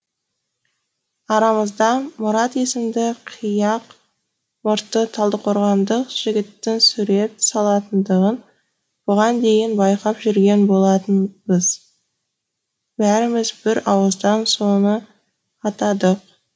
арамызда мұрат есімді қияқ мұртты талдықорғандық жігіттің сурет салатындығын бұған дейін байқап жүрген болатынбыз бәріміз бір ауыздан соны атадық